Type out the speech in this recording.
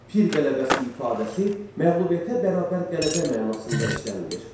Pir qələbəsi ifadəsi məğlubiyyətə bərabər qələbə mənasında işlənilir.